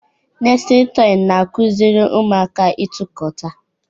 Nestịlin tọị na-akụziri ụmụaka ịtụkọta.